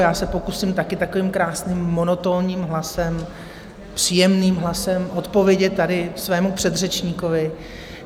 Já se pokusím taky takovým krásným monotónním hlasem, příjemným hlasem odpovědět tady svému předřečníkovi.